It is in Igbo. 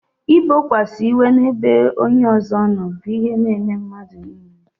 I bokwasa iwe n'ebe onye ọzọ nọ bụ ihe n'eme mmadụ niile